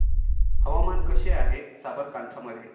हवामान कसे आहे साबरकांठा मध्ये